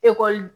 Ekɔli